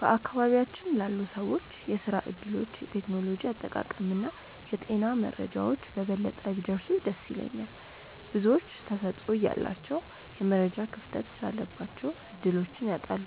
በአካባቢያችን ላሉ ሰዎች የሥራ ዕድሎች፣ የቴክኖሎጂ አጠቃቀምና የጤና መረጃዎች በበለጠ ቢደርሱ ደስ ይለኛል። ብዙዎች ተሰጥኦ እያላቸው የመረጃ ክፍተት ስላለባቸው ዕድሎችን ያጣሉ።